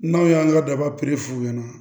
N'aw y'an ka daba f'u ɲɛna